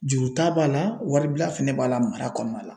Juru ta b'a la wari bila fɛnɛ b'a la mara kɔnɔna la.